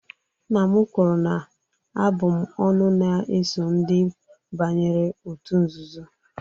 Nna m kwuru na abụm'ọnụ na-eso ndị banyere òtù nzuzo